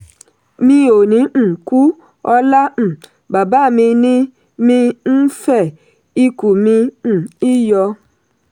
“mi ò ní um kú ọlá um bàbá mi ni mi ń fẹ̀; ìkù kì um í yọ.”